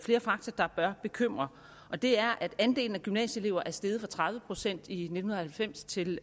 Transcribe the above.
flere fakta der bør bekymre og det er at andelen af gymnasieelever er steget fra tredive procent i nitten halvfems til